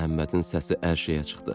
Məhəmmədin səsi ərşə çıxdı.